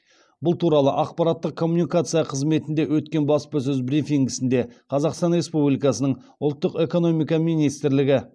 бұл туралы ақпараттық коммуникация қызметінде өткен баспасөз брифингісінде қазақстан республикасының ұлттық экономика министрлігі